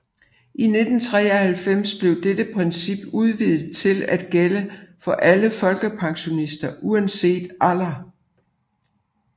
I 1993 blev dette princip udvidet til at gælde for alle folkepensionister uanset alder